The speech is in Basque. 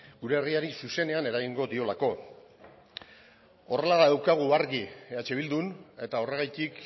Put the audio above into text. gure herriari zuzenean eragingo diolako horrela daukagu argi eh bildun eta horregatik